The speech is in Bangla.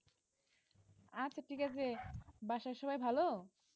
আচ্ছা ঠিক আছে বাসার সবাই ভালো?